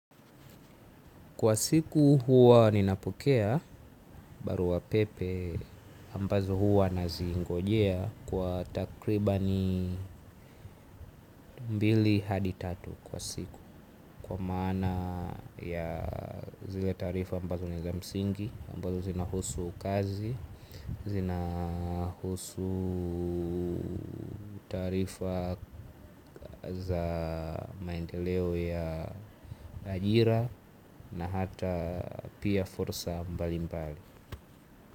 Kwa siku huwa ninapokea barua pepe ambazo huwa nazingojea kwa takribani mbili hadi tatu kwa siku. Kwa maana ya zile taarifa ambazo ni za msingi ambazo zinahusu kazi zinahusu taarifa za maendeleo ya ajira na hata pia fursa mbalimbali.